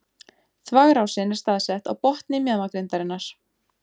Þvagrásin er staðsett á botni mjaðmagrindarinnar.